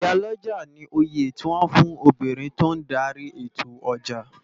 Iyá lòjá ni óyé tiwòn fún óbirin tó n dàri étó òjá